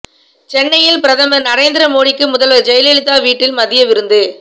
சென்னையில் பிரதமர் நரேந்திரமோடிக்கு முதல்வர் ஜெயலலிதா வீட்டில் மதிய விருந்து